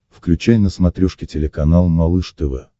включай на смотрешке телеканал малыш тв